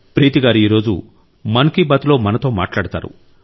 ప్రీతి గారు ఈరోజు మన్ కి బాత్ లో మనతో మాట్లాడతారు